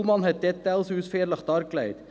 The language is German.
Kullmann hat die Details ausführlich dargelegt.